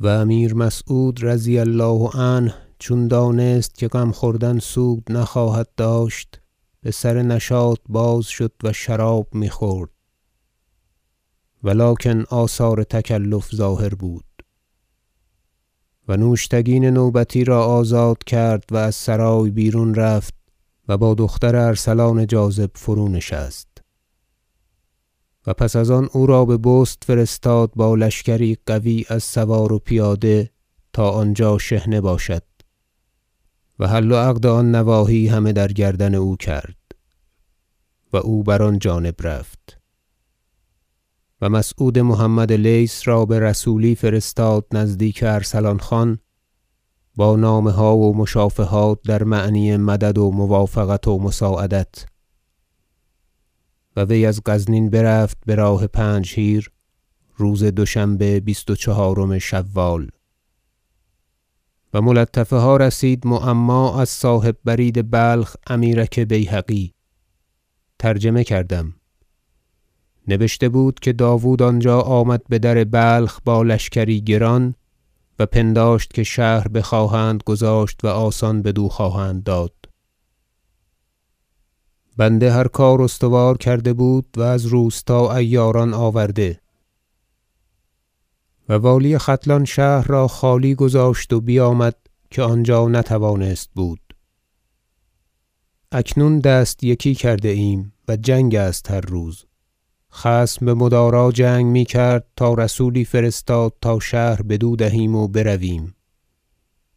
و امیر مسعود رضی الله عنه چون دانست که غم خوردن سود نخواهد داشت بسر نشاط باز شد و شراب میخورد و لکن آثار تکلف ظاهر بود و نوشتگین نوبتی را آزاد کرد و از سرای بیرون رفت و با دختر ارسلان جاذب فرونشست و پس از آن او را ببست فرستاد با لشکری قوی از سوار و پیاده تا آنجا شحنه باشد و حل و عقد آن نواحی همه در گردن او کرد و او بر آن جانب رفت و مسعود محمد لیث را برسولی فرستاد نزدیک ارسلان خان با نامه ها و مشافهات در معنی مدد و موافقت و مساعدت و وی از غزنین برفت براه پنجهیر روز دوشنبه بیست و چهارم شوال و ملطفه ها رسید معما از صاحب برید بلخ امیرک بیهقی ترجمه کردم نبشته بود که داود آنجا آمد بدر بلخ با لشکری گران و پنداشت که شهر بخواهند گذاشت و آسان بدو خواهند داد بنده هر کار استوار کرده بود و از روستا عیاران آورده و والی ختلان شهر را خالی گذاشت و بیامد که آنجا نتوانست بود اکنون دست یکی کرده ایم و جنگ است هر روز خصم بمدارا جنگ میکرد تا رسولی فرستاد تا شهر بدو دهیم و برویم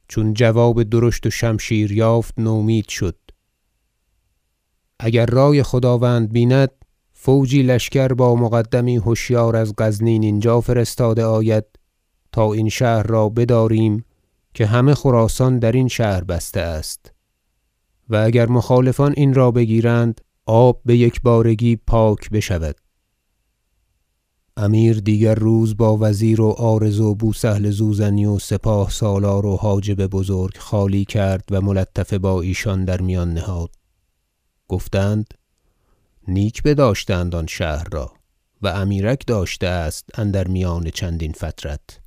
چون جواب درشت و شمشیر یافت نومید شد اگر رای خداوند بیند فوجی لشکر با مقدمی هشیار از غزنین اینجا فرستاده آید تا این شهر را بداریم که همه خراسان درین شهر بسته است و اگر مخالفان این را بگیرند آب بیکبارگی پاک بشود امیر دیگر روز با وزیر و عارض و بو سهل زوزنی و سپاه سالار و حاجب بزرگ خالی کرد و ملطفه با ایشان در میان نهاد گفتند نیک بداشته اند آن شهر را و امیرک داشته است اندر میان چندین فترت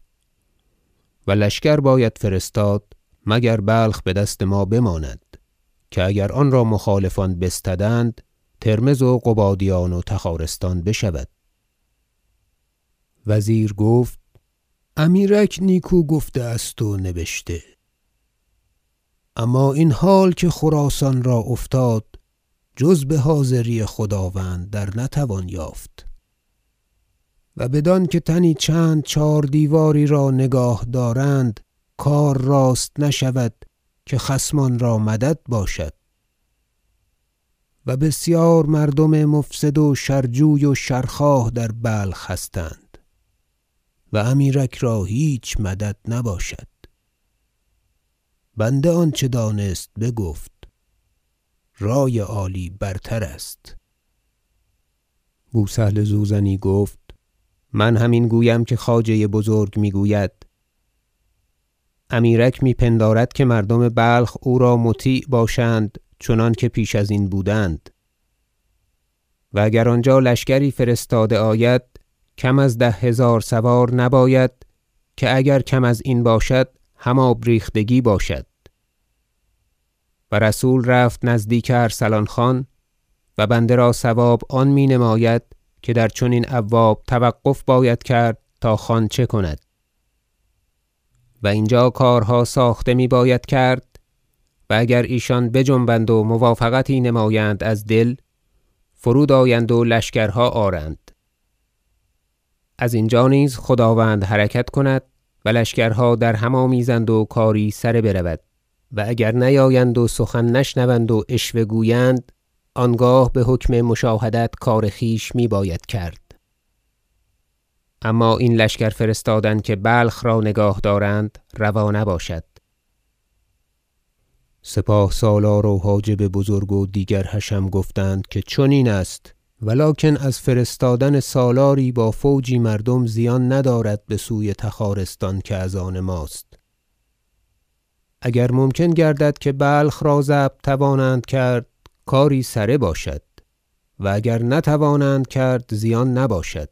و لشکر باید فرستاد مگر بلخ بدست ما بماند که اگر آنرا مخالفان بستدند ترمذ و قبادیان و تخارستان بشود وزیر گفت امیرک نیکو گفته است و نبشته اما این حال که خراسان را افتاد جز بحاضری خداوند در نتوان یافت و بدانکه تنی چند چهاردیواری را نگاه دارند کار راست نشود که خصمان را مدد باشد و بسیار مردم مفسد و شر جوی و شر خواه در بلخ هستند و امیرک را هیچ مدد نباشد بنده آنچه دانست بگفت رای عالی برتر است بو سهل زوزنی گفت من هم این گویم که خواجه بزرگ میگوید امیرک می پندارد که مردم بلخ او را مطیع باشند چنانکه پیش ازین بودند و اگر آنجا لشکری فرستاده آید کم از ده هزار سوار نباید که اگر کم ازین باشد هم آب ریختگی باشد و رسول رفت نزدیک ارسلان خان و بنده را صواب آن می نماید که در چنین ابواب توقف باید کرد تا خان چه کند و اینجا کارها ساخته می باید کرد و اگر ایشان بجنبند و موافقتی نمایند از دل فرود آیند و لشکرها آرند ازینجا نیز خداوند حرکت کند و لشکرها درهم آمیزند و کاری سره برود و اگر نیایند و سخن نشنوند و عشوه گویند آنگاه بحکم مشاهدت کار خویش میباید کرد اما این لشکر فرستادن که بلخ را نگاه دارند روا نباشد سپاه سالار و حاجب بزرگ و دیگر حشم گفتند که چنین است و لکن از فرستادن سالاری با فوجی مردم زیان ندارد بسوی تخارستان که از آن ماست اگر ممکن گردد که بلخ را ضبط توانند کرد کاری سره باشد و اگر نتوانند کرد زیان نباشد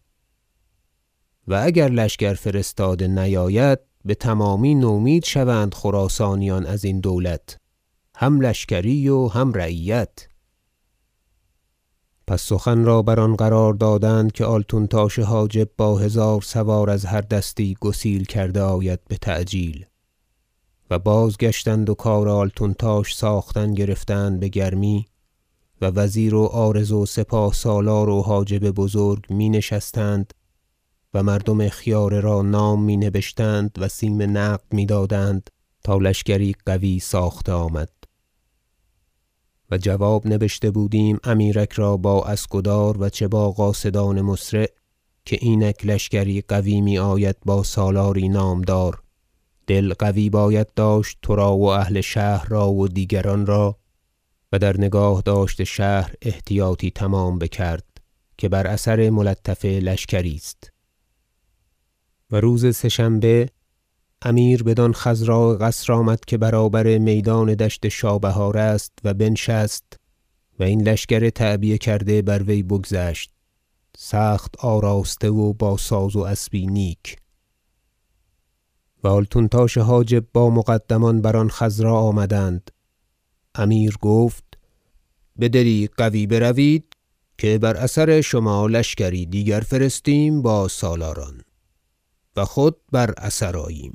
و اگر لشکر فرستاده نیاید بتمامی نومید شوند خراسانیان ازین دولت هم لشکری و هم رعیت پس سخن را بر آن قرار دادند که آلتونتاش حاجب را با هزار سوار از هر دستی گسیل کرده آید بتعجیل حمله سلجوقیان به بلخ و بازگشتند و کار آلتونتاش ساختن گرفتند بگرمی و وزیر و عارض و سپاه سالار و حاجب بزرگ می نشستند و مردم خیاره را نام می نبشتند و سیم نقد می- دادند تا لشکری قوی ساخته آمد و جواب نبشته بودیم امیرک را با اسکدار و چه با قاصدان مسرع که اینک لشکری قوی میآید با سالاری نامدار دل قوی باید داشت ترا و اهل شهر را و دیگران را و در نگاهداشت شهر احتیاطی تمام بکرد که بر اثر ملطفه لشکری است و روز سه شنبه امیر بدان قصر آمد که برابر میدان دشت شابهار است و بنشست و این لشکر تعبیه کرده بر وی بگذشت سخت آراسته و با ساز و اسبی نیک و آلتونتاش حاجب با مقدمان بر آن خضرا آمدند امیر گفت بدلی قوی بروید که بر اثر شما لشکری دیگر فرستیم با سالاران و خود بر اثر آییم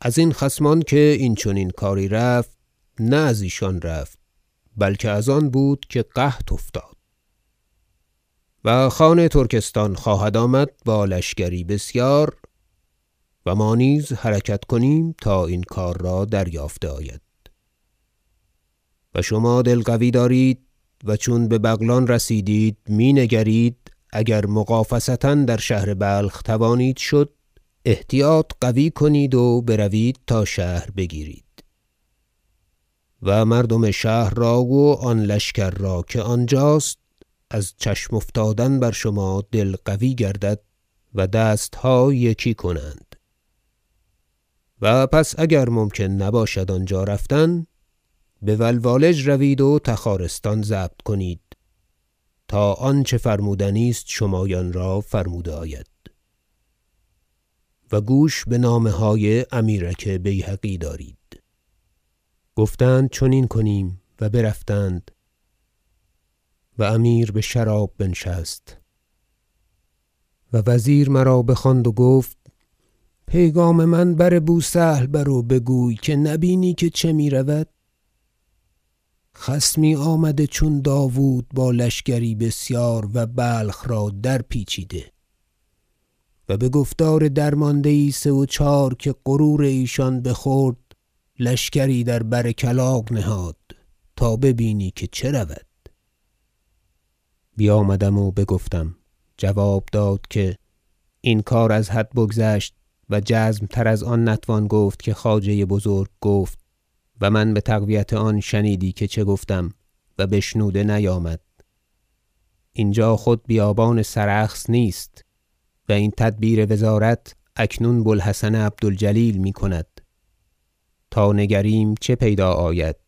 ازین خصمان که این چنین کاری رفت نه ازیشان رفت بلکه از آن بود که قحط افتاد و خان ترکستان خواهد آمد با لشکری بسیار و ما نیز حرکت کنیم تا این کار را دریافته آید و شما دل قوی دارید و چون ببغلان رسیدید می نگرید اگر مغافصه در شهر بلخ توانید شد احتیاط قوی کنید و بروید تا شهر بگیرید و مردم شهر را و آن لشکر را که آنجاست از چشم افتادن بر شما دل قوی گردد و دستها یکی کنند و پس اگر ممکن نباشد آنجا رفتن بولوالج روید و تخارستان ضبط کنید تا آنچه فرمودنی است شمایان را فرموده آید و گوش بنامه های امیرک بیهقی دارید گفتند چنین کنیم و برفتند و امیر بشراب بنشست و وزیر مرا بخواند و گفت پیغام من بر بو سهل بر و بگوی که نبینی که چه میرود خصمی آمده چون داود با لشکری بسیار و بلخ را در پیچیده و بگفتار درمانده یی سه و چهار که غرور ایشان بخورد لشکری در بر کلاغ نهاد تا ببینی که چه رود بیامدم و بگفتم جواب داد که این کار از حد بگذشت و جزم تر از آن نتوان گفت که خواجه بزرگ گفت و من بتقویت آن شنیدی که چه گفتم و بشنوده نیامد اینجا خود بیابان سرخس نیست و این تدبیر وزارت اکنون بو الحسن عبد الجلیل میکند تا نگریم که پیدا آید